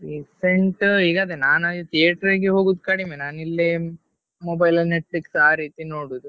Recent ಈಗ ಅದೇ ನಾನಾಗಿ theatre ಗೆ ಹೋಗುದು ಕಡಿಮೆ ನಾನಿಲ್ಲೇ mobile ಅಲ್ಲಿ Netflix ಆ ರೀತಿ ನೋಡುದು.